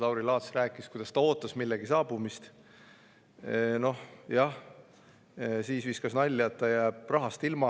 Lauri Laats rääkis, et ta ootas millegi saabumist, ja siis viskas nalja, et ta jääb rahast ilma.